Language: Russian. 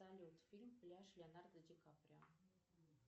салют фильм пляж леонардо ди каприо